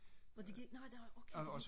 og de gider ikke nå nå okay nå